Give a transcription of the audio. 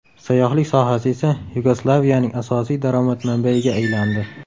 Sayyohlik sohasi esa Yugoslaviyaning asosiy daromad manbayiga aylandi.